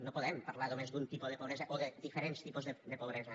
no podem parlar només d’un tipus de pobresa o de diferents tipus de pobresa